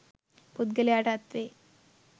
පුද්ගලයාට අත්වෙයි.